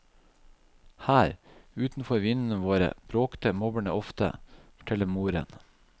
Her, utenfor vinduene våre, bråkte mobberne ofte, forteller moren.